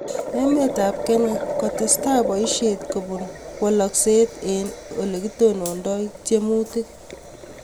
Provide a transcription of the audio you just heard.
Emet ap kenya: Kootestaai paisieet kobuun walaakseet eng' ole kitonondoi tiemuutik